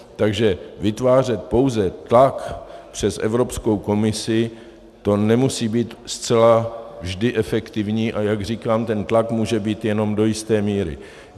Takže vytvářet pouze tlak přes Evropskou komisi, to nemusí být zcela vždy efektivní, a jak říkám, ten tlak může být jenom do jisté míry.